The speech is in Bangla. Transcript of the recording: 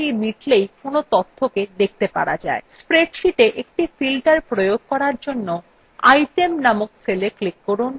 spreadsheetএকটি filter প্রয়োগ করার জন্য item named cella click করুন